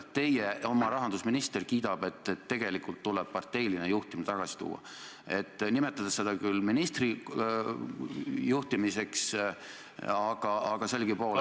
Teie oma rahandusminister kiidab, et tegelikult tuleb parteiline juhtimine tagasi tuua, nimetades seda küll ministri juhtimiseks, aga sellegipoolest ...